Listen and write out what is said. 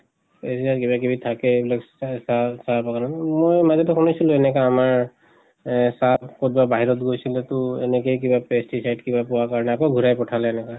কিবা কিবি থাকে এইবিলাক চা চাহ চাহ বাগানত মই মাজতে শুনিছিলো এনেকা আমাৰ এহ চাহ কত বা বাহিৰত গৈছিলো তু এনেকে কিবা pesticide কিবা পোৱাৰ কাৰণে আকৌ ঘুৰাই পিঠালে এনেকা।